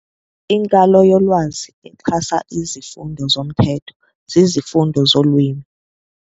Inkalo yolwazi exhasa izifundo zomthetho zizifundo zolwimi.